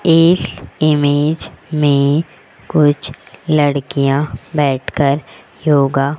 इस इमेज में कुछ लड़कियां बैठकर योगा --